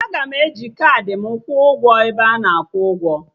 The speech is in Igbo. Aga m eji kaadị m kwuo ụgwọ n'ebe ana akwụ ụgwọ